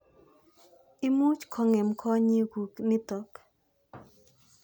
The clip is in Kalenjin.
Imuch kong'em konyek kuk nitok.